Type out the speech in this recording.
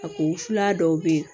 A ko fula dɔw be ye